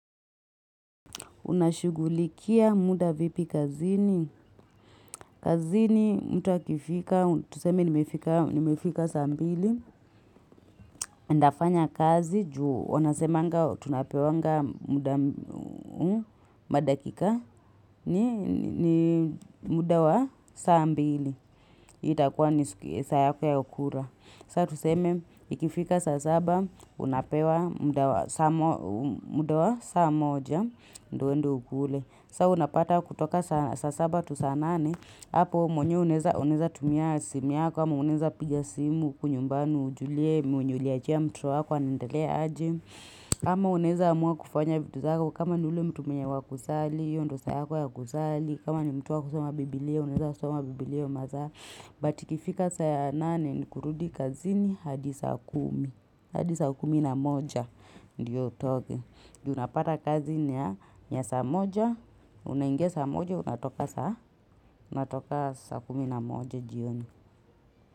Unashugulikia muda vipi kazini. Kazini mtu akifika, tuseme nimefika saa mbili. Ndafanya kazi juu wanasemanga tunapewanga muda madakika ni muda wa saa mbili. Itakuwa ni saa yako ya kula. Sa tuseme ikifika saa saba, unapewa muda wa saa moja, ndo uende ukule. Sa unapata kutoka sa saba tu saa nane Apo mwenye unaweza unaweza tumia simu yako ama unaweza piga simu huku yumbani ujulie mwenye uliachia mtoto wako anaendelea aje ama unaweza amua kufanya vitu zako kama ni ule mtu mwenye wakusali hiyo ndo saa yako ya kusali kama ni mtu wakusoma biblia Unaweza soma biblia hiyo masaa But ikifika sa nane ni kurudi kazini hadi saa kumi hadi saa kumi na moja ndio utoke Unapata kazi ni ya saa moja unaingia sa moja, unatoka saa kumi na moja jioni.